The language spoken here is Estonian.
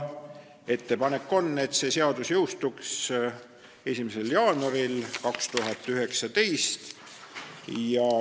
Ettepanek on, et see seadus jõustuks 1. jaanuaril 2019.